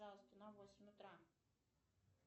пожалуйста на восемь утра